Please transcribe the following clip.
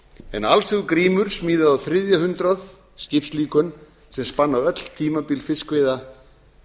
en alls hefur grímur smíðað á þriðja hundrað skipslíkön sem spanna öll tímabil fiskveiða